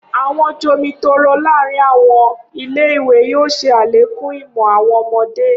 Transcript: Awọn jomitoro laarin awọn ile-iwe yoo ṣe alekun imọ awọn ọmọde.